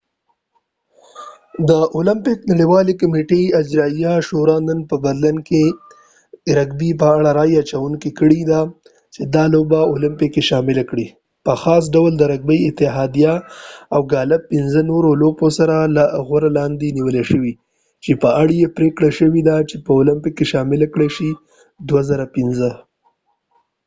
د اولمپک نړیوالی کمیټی اجرايیه شوری نن په برلین کې رګبی په اړه رای اچونه کړي ده چې دا لوبه په اولمپیک کې شامله کړي په خاص ډول د رګبی اتحاديه او ګالف د پنڅه نورو لوپو سره د غور لاندې نیول شوي چې په اړه یې پریکړه شوي چې په اولپک کې شاملی کړای شي2005